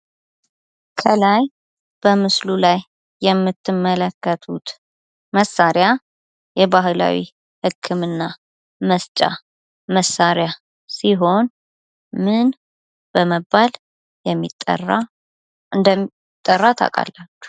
ከላይ በምስሉ ላይ የምትመለከቱት መሳሪያ የባህላዊ ህክምና መስጫ መሳሪያ ሲሆን ምን በመባል እንደሚጠራ ታውቃላችሁ?